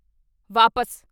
ਵਾਪਸ